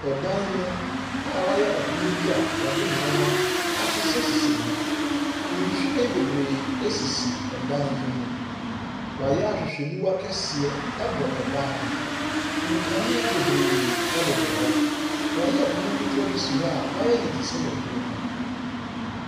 Ɔdan mu a wɔayɛ ɛpono bi a wɔde nwoma ahyehyɛhyehyɛ mu. Nhwiren bebree sisi ɔdan yi mu. Wɔayɛ ahwehwɛniwa kɔseɛ ɛbɔ ban ho. Nkanea bebree bobɔ hɔ. Wɔayɛ pono ketewa bi si hɔ a, wɔayɛ no sɛ waduro no.